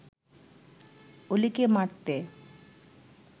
অলিকে মারতে